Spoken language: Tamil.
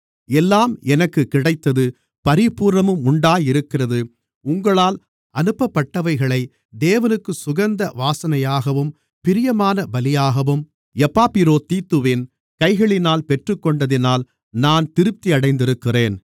எல்லாம் எனக்குக் கிடைத்தது பரிபூரணமும் உண்டாயிருக்கிறது உங்களால் அனுப்பப்பட்டவைகளை தேவனுக்குச் சுகந்த வாசனையாகவும் பிரியமான பலியாகவும் எப்பாப்பிரோதீத்துவின் கைகளினால் பெற்றுக்கொண்டதினால் நான் திருப்தியடைந்திருக்கிறேன்